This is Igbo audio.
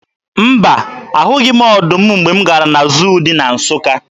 Mba, ahụghị m ọdụm mgbe m gara na zuu dị na Nsụka.